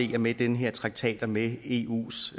vi med den her traktat og med eus